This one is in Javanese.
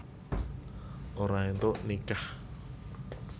Ora éntuk nikah